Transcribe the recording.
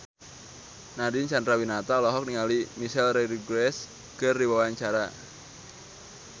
Nadine Chandrawinata olohok ningali Michelle Rodriguez keur diwawancara